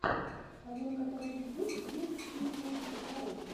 в твоем каталоге есть клип си эн си оу